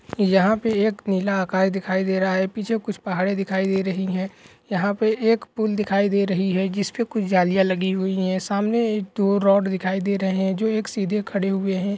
यहा पे एक नीला आकाश दिखाई दे रहा हे पीछे कुछ पहाड़ी दिखाई दे रही हे यहा पे एक पुल दिखाई दे रही हे जिसपे कुछ जालिया लगी हुई हे सामने एक दो रोड दिखाई दे रहे हे जो सीधी खड़ी हुई हे।